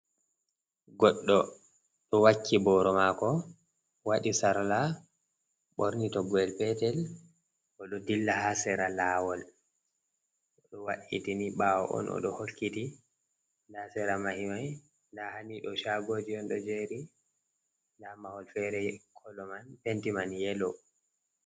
Goɗɗo ɗo wakki booro maako, waɗii sarla ɓorni toggoyel peetel, o ɗo ɗilla haa sera laawol, o ɗo wa'itini ɓaawo on, o ɗo hokkiti haa sera mahi mai, nda haa ni ɗon shaago ji on ɗo jeeri, nda mahol feere kolo man penti man yelo.